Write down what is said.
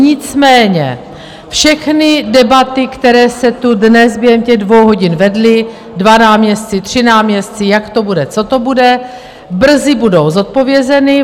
Nicméně všechny debaty, které se tu dnes během těch dvou hodin vedly - dva náměstci, tři náměstci, jak to bude, co to bude - brzy budou zodpovězeny.